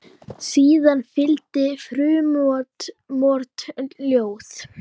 Síðan fylgdi frumort ljóð.